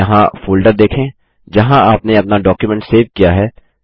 यहाँ फ़ोल्डर देखें जहाँ आपने अपना डॉक्युमेंट सेव किया है